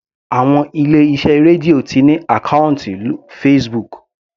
Àwọn ilé iṣẹ́ Radio ti ní àkọ́ùntì Facebook.